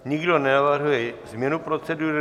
Nikdo nenavrhuje změnu procedury.